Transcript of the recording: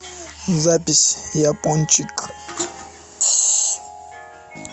запись япончик